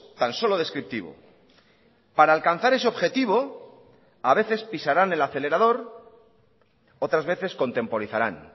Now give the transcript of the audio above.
tan solo descriptivo para alcanzar ese objetivo a veces pisarán el acelerador otras veces contemporizarán